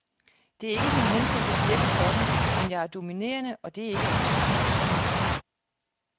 Det er ikke min hensigt at virke sådan, men jeg er dominerende, og det er ikke altid godt.